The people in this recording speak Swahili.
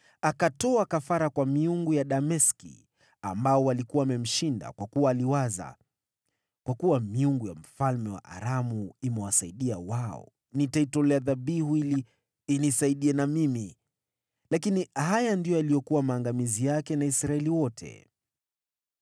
Akatoa kafara kwa miungu ya Dameski, waliokuwa wamemshinda, kwa kuwa aliwaza, “Kwa kuwa miungu ya mfalme wa Aramu imewasaidia wao, nitaitolea dhabihu ili inisaidie na mimi.” Lakini haya ndiyo yaliyokuwa maangamizi yake na Israeli wote.